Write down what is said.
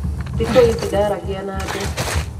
Thikũ ici ndaragia na andũ.